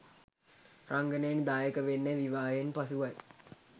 රංගනයෙන් දායක වෙන්නේ විවාහයෙන් පසුවයි.